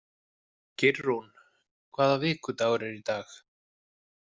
Geirrún, hvaða vikudagur er í dag?